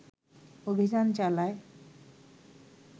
অভিযান চালায়